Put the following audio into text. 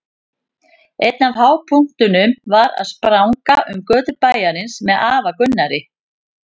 Einn af hápunktunum var að spranga um götur bæjarins með afa Gunnari.